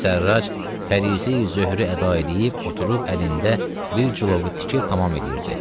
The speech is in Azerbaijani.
Yusif Sərrac fərisi zöhürü əda eləyib, oturub əlində bir çulovu tikib tamam eləyirdi.